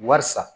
Barisa